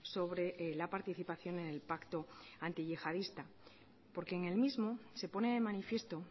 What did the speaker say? sobre la participación en el pacto antiyihadista porque en el mismo se pone de manifiesto